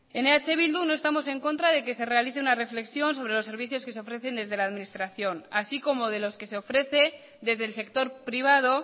en eh bildu no estamos en contra de que se realice una reflexión sobre los servicios que se ofrecen desde la administración así como de los que se ofrece desde el sector privado